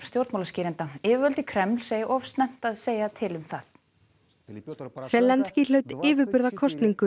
stjórnmálaskýrenda yfirvöld í Kreml segja of snemmt að segja til um það hlaut